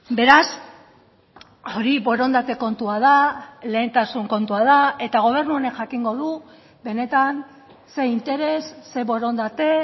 beraz hori borondate kontua da lehentasun kontua da eta gobernu honek jakingo du benetan ze interes ze borondate